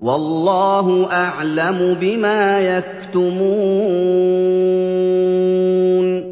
وَاللَّهُ أَعْلَمُ بِمَا يَكْتُمُونَ